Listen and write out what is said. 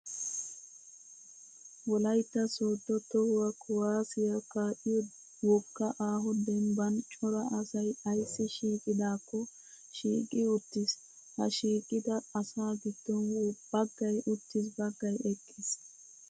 Wolayitta sooddo tohuwaa kuwaaziyaa kaa'iyoo wogga aaho dembban cora asayi ayissi shiiqidaakko shiiqi uttis. Ha shiiqida asaa giddon baggayi uttis baggayi eqqis.